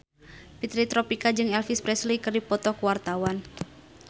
Fitri Tropika jeung Elvis Presley keur dipoto ku wartawan